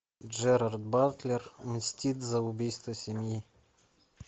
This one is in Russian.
джерард батлер мстит за убийство семьи